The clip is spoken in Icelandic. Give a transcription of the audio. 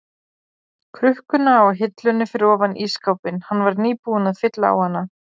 krukkuna á hillunni fyrir ofan ísskápinn, hann var nýbúinn að fylla á hana.